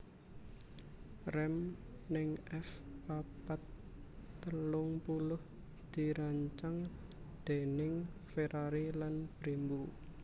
Rem ning F papat telung puluh dirancang déning Ferrari lan Brembo